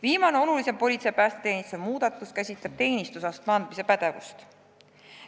Viimane oluline politsei- ja päästeteenistuse muudatus käsitleb teenistusastme andmise pädevust.